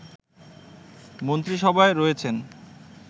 মন্ত্রিসভায় রয়েছেন